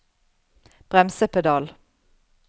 bremsepedal